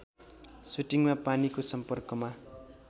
सुटिङमा पानीको सम्पर्कमा